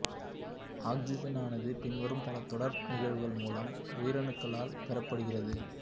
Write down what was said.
ஆக்சிசனானது பின்வரும் பல தொடர் நிகழ்வுகள் மூலம் உயிரணுக்களால் பெறப்படுகிறது